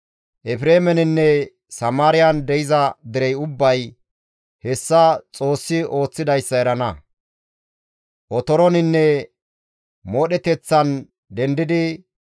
Efreemeninne Samaariyan de7iza derey ubbay hessa Xoossi ooththidayssa erana; otoroninne moodheteththan dendidi,